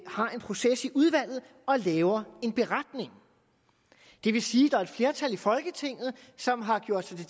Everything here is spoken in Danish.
har en proces i udvalget og laver en beretning det vil sige at er et flertal i folketinget som har gjort sig til